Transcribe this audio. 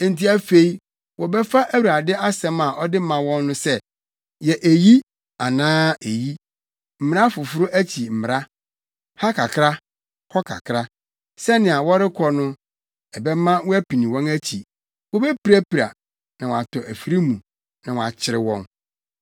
Enti afei wɔbɛfa Awurade asɛm a ɔde ma wɔn no sɛ: Yɛ eyi anaa eyi, mmara foforo akyi mmara; ha kakra, hɔ kakra, sɛnea wɔrekɔ no ɛbɛma wɔapini wɔn akyi; wobepirapira, na wɔatɔ afiri mu, na wɔakyere wɔn.